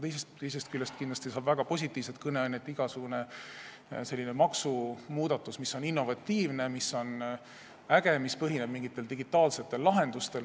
Teisest küljest annab väga positiivset kõneainet igasugune maksumuudatus, mis on innovatiivne, mis on äge ja mis põhineb mingitel digitaalsetel lahendustel.